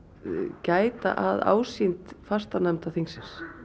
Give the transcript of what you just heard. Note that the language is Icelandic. gæta að ásýnd fastanefnda þingsins